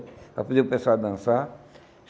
Aí podia o pessoal dançar.